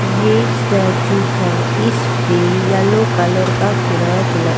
यह स्टैचू है इस पे येलो कलर का फराक ल.